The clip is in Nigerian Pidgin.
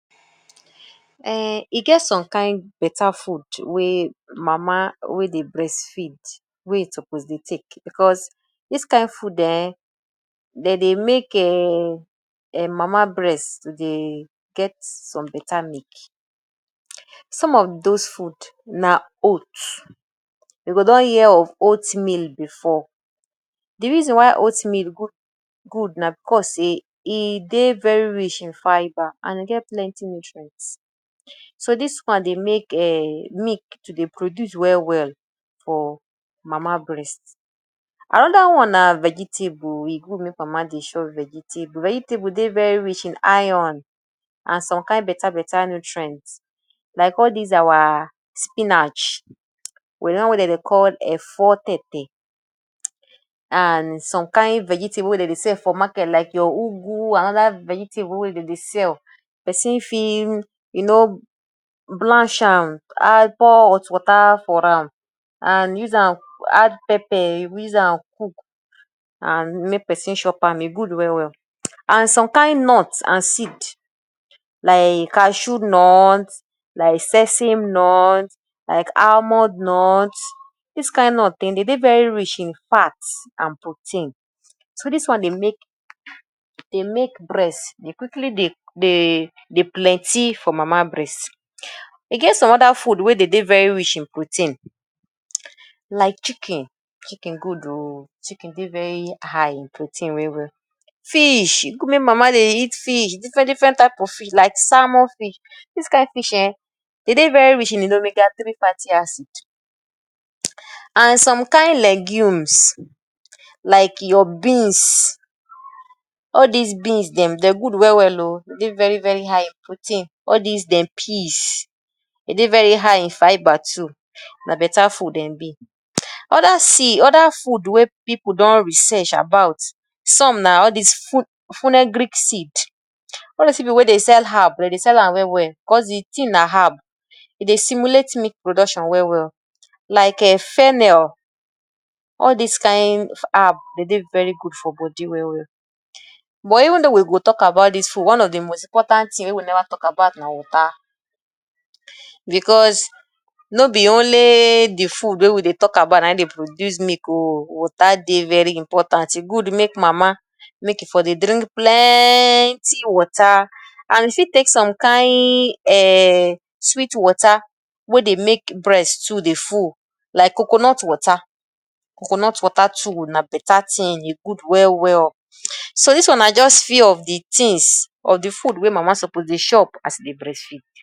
Um e get some kain better food wey mama wey dey breast feed wey e suppose dey take because dis kain food um dem dey make um mama breast to dey get some better milk. Some of those food na oat; you go don hear of oatmeal before. De reason why oatmeal good na because sey e dey very rich in fiber and e get plenty nutrient. So dis one dey make um milk to dey produce well well for mama breast. Another one na vegetable, e good make mama dey chop vegetable. Vegetable dey very rich in iron and some kind better better nutrient like all these our spinach wit de one wey dem dey call efo tete and some kain vegetable wey dem dey sell for market like your ugu and other vegetable wey dem dey sell. Person fit you know blanch am, add, pour hot water for am and use am add pepper use am cook and make person chop am, e good well well. And some kain nut and seed like cashew nut, like sesame nut, like almond nut; dis kain nut dem dey dey very rich in fat and protein. So dis one dey make dey make breast dey quickly dey dey dey plenty for mama breast. E get some other food wey dey dey very rich in protein like chicken, chicken good oo chicken dey very high in protein well well. Fish make mama dey eat fish, different different type of fish like salmon fish; dis kain fish um dey dey very rich in omega 3 fatty acid. And some kain legumes like your beans, all these beans dem dey good well well oo. E dey very very high in protein all dis dem peas, dey dey very high in fiber too, na better food dem be. Other other food wey pipu don research about, some na all dis seed; all dis pipu wey dey sell herb dem dey sell am well well cause de thing na herb. E dey simulate milk production well well like um fennel; all dis kain herb dey dey very good for body well well. But even though we go talk about dis food one of de most important thing wey we never talk about na water because no be only de food wey we dey talk about na im dey produce milk oo, water dey very important. E good make mama make e for dey drink plenty water and e fit take some kain um sweet water wey dey make breast too dey full like coconut water, coconut water too na better thing, e good well well. So dis one na just few of de things of de food wey mama suppose dey chop as e dey breastfeed.